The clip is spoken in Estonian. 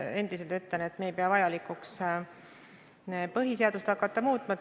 Endiselt ütlen, et me ei pea vajalikuks hakata põhiseadust muutma.